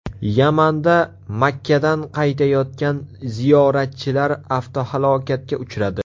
Yamanda Makkadan qaytayotgan ziyoratchilar avtohalokatga uchradi.